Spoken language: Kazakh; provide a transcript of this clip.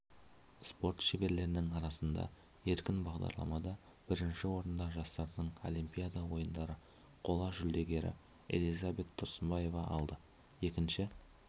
спорт шеберлерінің арасында еркін бағдарламада бірінші орында жастардың олимпиада ойындары қола жүлдегері элизабет тұрсынбаева алды екінші